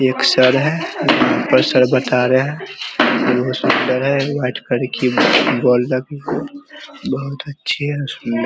एक सर है बता रहे है बहुत सुंदर है बहुत अच्छी है ।